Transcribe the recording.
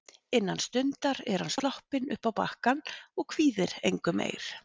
Innan stundar er hann sloppinn uppá bakkann og kvíðir engu meir.